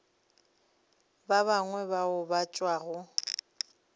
ba bangwe bao ba tšwago